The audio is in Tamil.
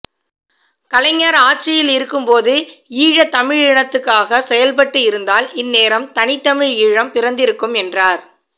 கலைஞர் ஆட்சியில் இருக்கும்போது ஈழத்தமிழனத்துக்காக செயல்பட்டு இருந்தால் இந்நேரம் தனி தமிழ் ஈழம் பிறந்திருக்கும் என்றார்